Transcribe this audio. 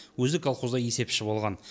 өзі колхозда есепші болған